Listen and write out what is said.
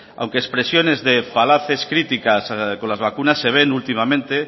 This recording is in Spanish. aunque expresiones de falaces críticas con las vacunas se ven últimamente